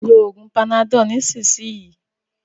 ló oògùn Panadol nisisiyi!